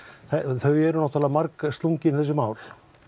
þau eru margslungin þessi mál